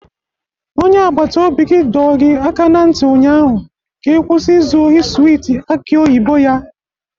Onye agbata obi gị dọọ gị aka na ntị ụnyaahụ ka kwụsị izu ohi swiiti aki oyibo ya!